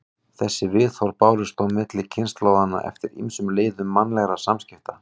Þessi viðhorf bárust þó milli kynslóðanna eftir ýmsum leiðum mannlegra samskipta.